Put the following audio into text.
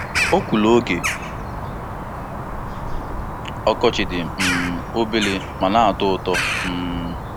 Ọkwụrụ oge ọkọchị dị um obere ma na-atọ ụtọ. um